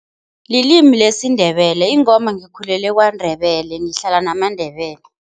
Lilimi lesiNdebele ingomba ngikhulele kwaNdebele, ngihlala namaNdebele.